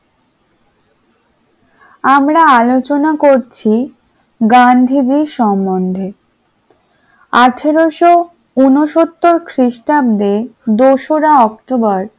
আমরা আলোচনা করছি গান্ধীজীর সম্বন্ধে । আঠারোশ উনসত্তর খ্রিস্টাব্দে দো-সরা অক্টোবর